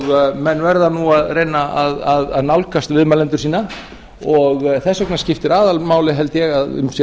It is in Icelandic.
og menn verða nú að reyna að nálgast viðmælendur sína og þess vegna skiptir aðalmáli held ég að um sé að